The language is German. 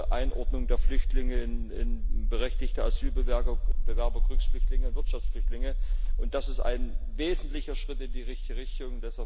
die Einordnung der Flüchtlinge in berechtigte Asylbewerber, Kriegsflüchtlinge, Wirtschaftsflüchtlinge, und das ist ein wesentlicher Schritt in die richtige Richtung.